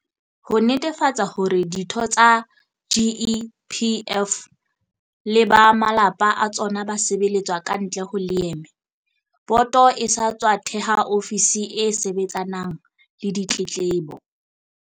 Ho netefatsa hore ditho tsa GEPF le ba malapa a tsona ba sebeletswa kantle ho leeme, boto e sa tswa theha ofisi e sebetsanang le ditletlebo.